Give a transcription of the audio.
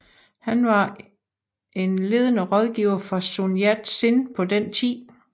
Han var en ledende rådgiver for Sun Yat Sen på den tid